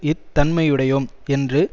இத் தன்மையுடையோம் என்று